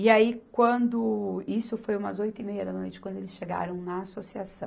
E aí quando, isso foi umas oito e meia da noite quando eles chegaram na associação.